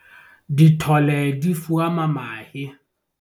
dithole di fuama mahe